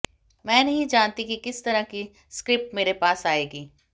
मैं नहीं जानती कि किस तरह की स्क्रिप्ट मेरे पास आएगी